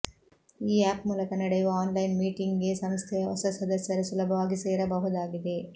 ಈ ಆಪ್ ಮೂಲಕ ನಡೆಯುವ ಆನ್ಲೈನ್ ಮೀಟಿಂಗ್ಗೆ ಸಂಸ್ಥೆಯ ಹೊಸ ಸದಸ್ಯರು ಸುಲಭವಾಗಿ ಸೇರಬಹುದಾಗಿದೆ